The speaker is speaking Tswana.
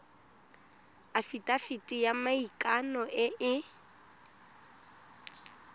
afitafiti ya maikano e e